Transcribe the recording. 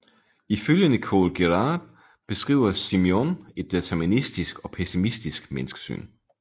Ifølge Nicole Geeraert beskriver Simenon et deterministisk og pessimistisk menneskesyn